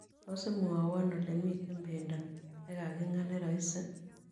Tos' imwowon olemiten pendo ne gagin'gaa neroiisi